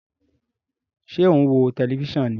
Ṣe o n wo tẹlifisiọnu ní?